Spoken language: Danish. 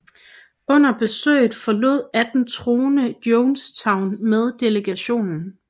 Under besøget forlod 18 troende Jonestown med delegationen